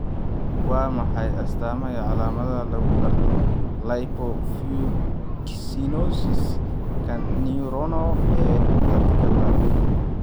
Waa maxay astama iyo calaamadaha lagu garto lipofuscinosis ka neuronal ee dadka waaweyn?